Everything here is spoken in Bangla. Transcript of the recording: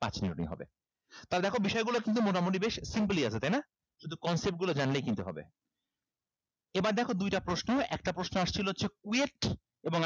তাইলে দেখো বিষয়গুলো কিন্তু মোটামুটি বেশ simple ই আছে তাইনা শুধু concept গুলা জানলেই কিন্তু হবে এবার দেখো দুইটা প্রশ্ন একটা প্রশ্ন আসছিলো হচ্ছে KUET